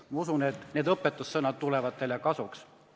Ma usun, et nende õpetussõnad tuleksid teile kasuks.